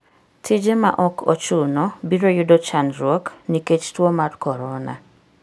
Tije ma ok ochuno biro yudo chandruok nikech tuo mar korona.